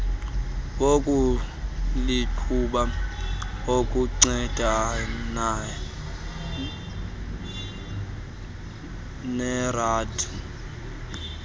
wokuliqhuba ukuncedana nered